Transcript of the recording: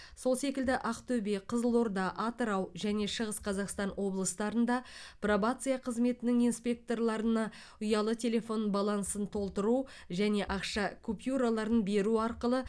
сол секілді ақтөбе қызылорда атырау және шығыс қазақстан облыстарында пробация қызметінің инспекторларына ұялы телефон балансын толтыру және ақша купюраларын беру арқылы